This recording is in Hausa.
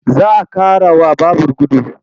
Za a ƙarawa babur gudu.